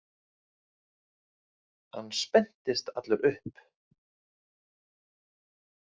Hann spenntist allur upp.